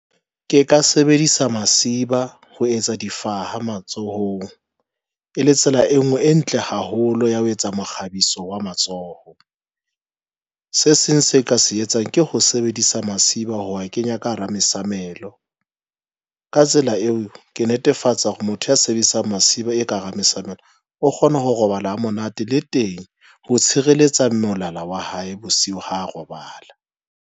Ke ka sebedisa masiba ho etsa difaha matsohong e le tsela e nngwe, e ntle haholo ya ho etsa mokgabiso wa matsoho. Se seng se ka se etsang ke ho sebedisa masiba ho a kenya ka hara mesamelo. Ka tsela eo ke netefatsa hore motho ya sebedisang masiba e ka hara mesamelo. O kgona ho robala ha monate le teng ho tshireletsa molala wa hae bosiu ha robala.